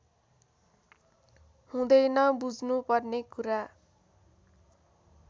हुँदैन बुझ्नु पर्ने कुरा